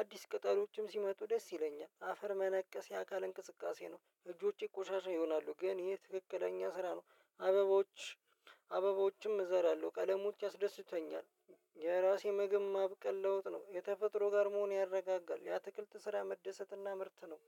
አዲስ ቅጠሎችም ሲመጡ ደስ ይለኛል። አፈር መነቀስ የአካል እንቅስቃሴ ነው እጆቼ ቆሻሻ ይሆናሉ ግን ይሄ ትክክለኛ ስራ ነው። አበባዎች አበቦዎችም እዘራለሁ ቀለሞች ያስደስቱኛል። የራሴ ምግብ ማብቀል ለውጥ ነው የተፈጥሮ ጋር መሆን ያረጋጋል። የአትክልት ስራ መደሰት እና ምርት ነው።